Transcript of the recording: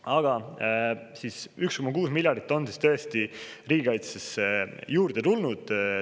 Aga 1,6 miljardit on tõesti riigikaitsesse juurde tulnud.